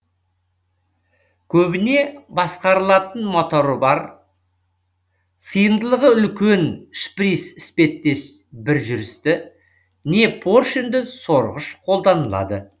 көбіне басқарылатын моторы бар сыйымдылығы үлкен шприц іспеттес бір жүрісті не поршенді сорғыш қолданылады